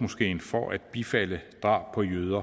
moskeen for at bifalde drab på jøder